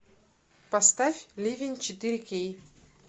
поставь ливень четыре кей